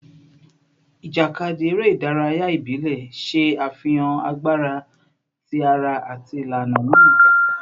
Ijakadi, ere idaraya ibile, ṣe afihan agbara ti ara ati ilana ni ija